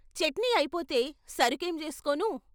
' చట్నీ అయిపోతే సరుకేం జేసుకోను?